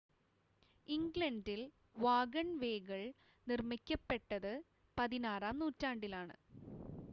ഇംഗ്ലണ്ടിൽ വാഗൺവേകൾ നിർമ്മിക്കപ്പെട്ടത് പതിനാറാം നൂറ്റാണ്ടിലാണ്